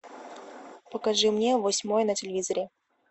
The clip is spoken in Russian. покажи мне восьмой на телевизоре